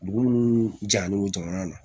Dugu munnu jalen no jamana na